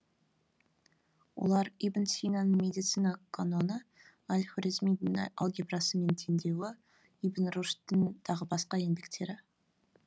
олар ибн синаның медицина каноны әл хорезмидің алгебрасы мен теңдеуі ибн рушдтің тағы басқа еңбектері